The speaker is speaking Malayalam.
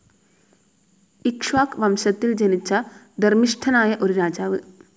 ഇക്ഷ്വാക് വംശത്തിൽ ജനിച്ച ധർമ്മിഷ്ഠനായ ഒരു രാജാവ്.